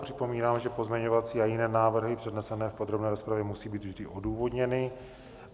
Připomínám, že pozměňovací a jiné návrhy přednesené v podrobné rozpravě musí být vždy odůvodněny.